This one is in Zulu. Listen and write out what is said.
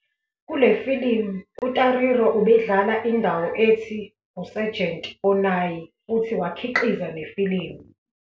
Kule filimu uTariro ubedlala indawo ethi 'uSergeant Onai' futhi wakhiqiza nefilimu.